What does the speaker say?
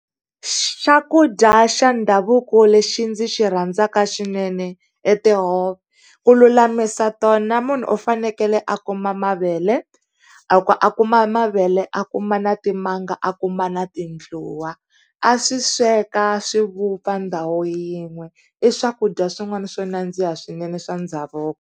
Xakudya xa ndhavuko lexi ndzi xi rhandzaka swinene i tihove. Ku lulamisa tona munhu u fanekele a kuma mavele, a a kuma mavele a kuma na timanga a kuma na tindluwa, a swi sweka swi vupfa ndhawu yin'we i swakudya swin'wana swo nandziha swinene swa ndhavuko.